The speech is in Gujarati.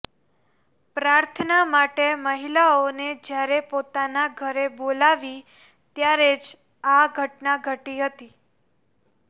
પ્રાર્થના માટે મહિલાઓને જ્યારે પોતાના ઘરે બોલાવી ત્યારે જ આ ઘટના ઘટી હતી